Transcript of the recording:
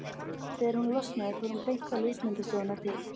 Þegar hún losnaði fór hún beint á ljósmyndastofuna til